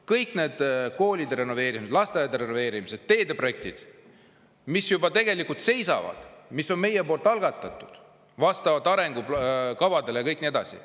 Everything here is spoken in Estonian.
Kõik need koolide renoveerimised, lasteaedade renoveerimised, teedeprojektid, mis juba tegelikult seisavad, aga on meie poolt algatatud vastavalt arengukavadele, ja nii edasi.